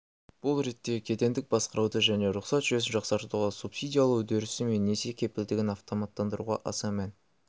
бұл ретте кедендік басқаруды және рұқсат жүйесін жақсартуға субсидиялау үдерісі мен несие кепілдігін автоманттандыруға аса мән